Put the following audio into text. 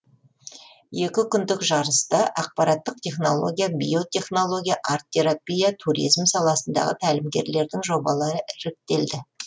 екі күндік жарыста ақпараттық технология биотехнология арт терапия туризм саласындағы тәлімгерлердің жобалары іріктеледі